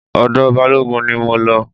Ọ̀dọ̀ Balógun ni mo lọ.